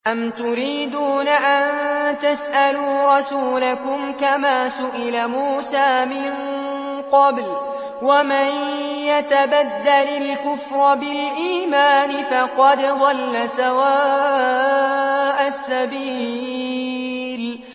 أَمْ تُرِيدُونَ أَن تَسْأَلُوا رَسُولَكُمْ كَمَا سُئِلَ مُوسَىٰ مِن قَبْلُ ۗ وَمَن يَتَبَدَّلِ الْكُفْرَ بِالْإِيمَانِ فَقَدْ ضَلَّ سَوَاءَ السَّبِيلِ